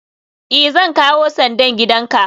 i, Zan kawo sandan gidanka